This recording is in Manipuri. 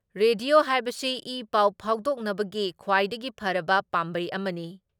ꯔꯦꯗꯤꯑꯣ ꯍꯥꯏꯕꯁꯤ ꯏ ꯄꯥꯎ ꯐꯥꯎꯗꯣꯛꯅꯕꯒꯤ ꯈ꯭ꯋꯥꯏꯗꯒꯤ ꯐꯔꯕ ꯄꯥꯝꯕꯩ ꯑꯃꯅꯤ ꯫